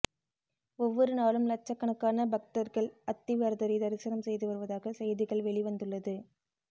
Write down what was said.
ஒவ்வொரு நாளும் லட்சக்கணக்கான பக்தர்கள் அத்திவரதரை தரிசனம் செய்து வருவதாக செய்திகள் வெளிவந்துள்ளது